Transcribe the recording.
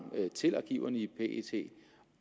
til arkiverne i pet